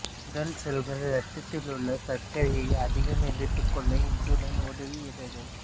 உடல் செல்கள் இரத்தத்திலுள்ள சர்க்கரையை அதிகம் எடுத்துக் கொள்ள இன்சுலின் உதவுகிறது